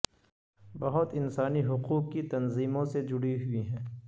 بہت انسانی حقوق کی تنظیموں سے جوڈی ہوئی ہیں